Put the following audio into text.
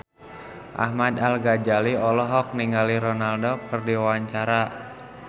Ahmad Al-Ghazali olohok ningali Ronaldo keur diwawancara